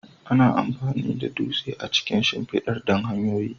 Ana amfani da dutse a cikin shimfidar don hanyoyi.